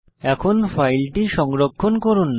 এখন ফাইলটি সংরক্ষণ করুন